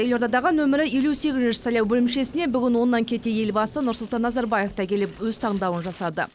елордадағы нөмірі елу сегізінші сайлау бөлімшесіне бүгін оннан кете елбасы нұрсұлтан назарбаев та келіп өз таңдауын жасады